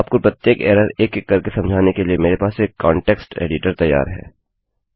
आपको प्रत्येक एरर एक एक करके समझाने के लिए मेरे पास एक कांटेक्स्ट एडिटर तैयार है